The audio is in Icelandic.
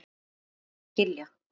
Takk fyrir að skilja.